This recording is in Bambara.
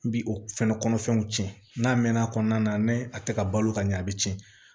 N bi o fɛnɛ kɔnɔfɛnw tiɲɛ n'a mɛnna a kɔnɔna na n'a tɛ ka balo ka ɲɛ a bɛ tiɲɛ